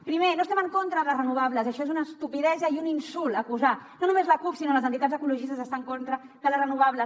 primer no estem en contra de les renovables això és una estupidesa i un insult acusar no només la cup sinó les entitats ecologistes d’estar en contra de les renovables